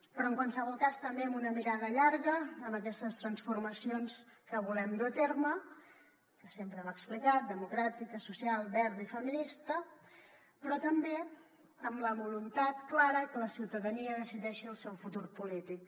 però en qualsevol cas també amb una mirada llarga en aquestes transformacions que volem dur a terme que sempre hem explicat democràtica social verda i feminista però també amb la voluntat clara que la ciutadania decideixi el seu futur polític